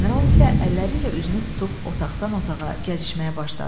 General isə əlləri ilə üzünü tutub otaqdan otağa gəzişməyə başladı.